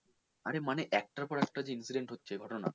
আরে মানে একটার পর একটা যে incident ঘটছে মানে ঘটনা